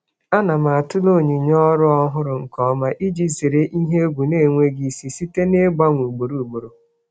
Ana m atụle onyinye um ọrụ ọhụrụ nke ọma iji zere um ihe egwu na-enweghị um isi site n'ịgbanwe ugboro ugboro.